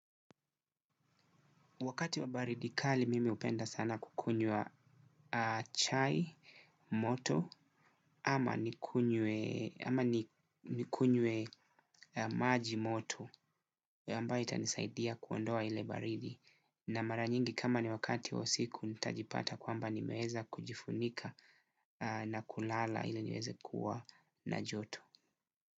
Wakati wa baridi kali mimi upenda sana kukunywa chai, moto, ama nikunywe maji moto. Yambaye itanisaidia kuondoa ile baridi. Na mara nyingi kama ni wakati wa usiku nitajipata kwamba nimeweza kujifunika na kulala ili niweze kuwa na joto.